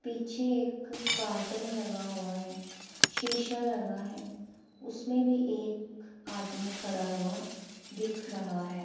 पीछे एक कार्टेन लगा हुआ है शीशा लगा है उसमें भी एक आदमी खड़ा हुआ दिख रहा है।